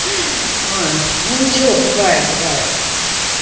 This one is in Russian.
ой ну ничего бывает бывает